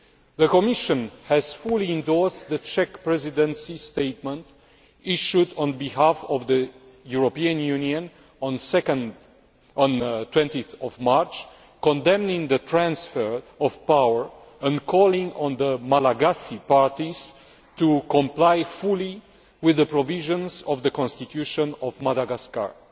The Commission has fully endorsed the Czech Presidency statement issued on behalf of the European Union on 20 March condemning the transfer of power and calling on the Malagasy parties to comply fully with the provisions of the Constitution of Madagascar.